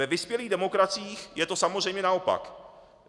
Ve vyspělých demokraciích je to samozřejmě naopak.